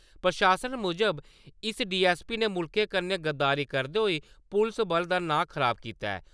प्रशासन मुजब, इस डीएसपी ने मुल्खै कन्नै गद्दारी करदे होई पुलस बल दा नांऽ खराब कीता ऐ।